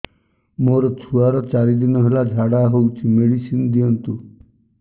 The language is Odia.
ମୋର ଛୁଆର ଚାରି ଦିନ ହେଲା ଝାଡା ହଉଚି ମେଡିସିନ ଦିଅନ୍ତୁ